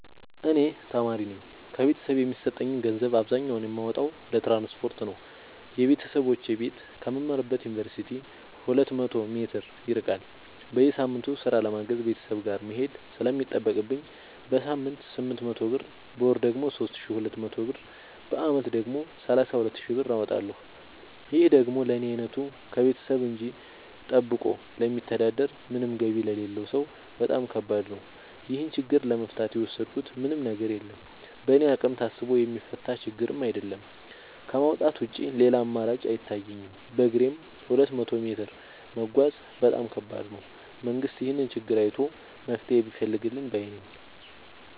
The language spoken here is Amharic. እኔ ተማሪነኝ ከቤተሰብ የሚሰጠኝን ገንዘብ አብዛኛውን የማወጣው ለትራንስፖርት ነው የበተሰቦቼ ቤት ከምማርበት ዮንቨርሲቲ ሁለት መቶ ሜትር ይርቃል። በየሳምቱ ስራ ለማገዝ ቤተሰብ ጋር መሄድ ስለሚጠቅብኝ በሳምንት ስምንት መቶ ብር በወር ደግሞ ሶስት ሺ ሁለት መቶ ብር በአመት ደግሞ ሰላሳ ሁለት ሺ ብር አወጣለሁ ይህ ደግሞ ለኔ አይነቱ ከቤተሰብ እጂ ጠብቆ ለሚተዳደር ምንም ገቢ ለሌለው ሰው በጣም ከባድ ነው። ይህን ችግር ለመፍታት የወሰድኩት ምንም ነገር የለም በእኔ አቅም ታስቦ የሚፈታ ችግርም አይደለም ከማውጣት ውጪ ሌላ አማራጭ አይታየኝም በግሬም ሁለት መቶ ሜትር መጓዝ በጣም ከባድ ነው። መንግስት ይህንን ችግር አይቶ መፍትሔ ቢፈልግልን ባይነኝ።